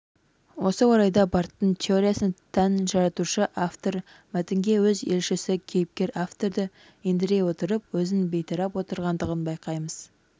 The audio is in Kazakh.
осы орайда барттың теориясына тән жаратушы-автор мәтінге өз елшісі кейіпкер-авторды ендіре отырып өзін бейтараптап отырғандығын байқаймыз